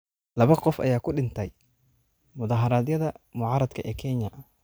Labo qof ayaa ku dhintay mudaaharaadyada mucaaradka ee Kenya